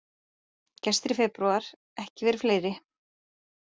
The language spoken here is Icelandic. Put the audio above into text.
Gestir í febrúar ekki verið fleiri